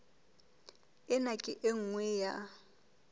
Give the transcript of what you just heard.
ena ke e nngwe ya